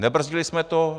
Nebrzdili jsme to.